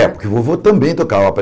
É, porque o vovô também tocava.